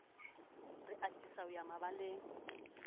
re atisa ho ya mabaleng